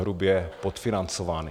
Hrubě podfinancovány.